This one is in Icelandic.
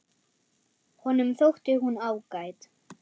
Honum þótti hún ágæt.